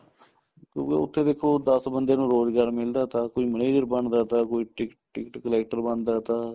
ਕਿਉਂਕਿ ਉੱਥੇ ਦੇਖੋ ਦੱਸ ਬੰਦਿਆ ਨੂੰ ਰੋਜਗਾਰ ਮਿਲਦਾ ਤਾ ਕੋਈ manager ਬਣਦਾ ਤਾ ਕੋਈ ticket ticket collector ਬਣਦਾ ਤਾ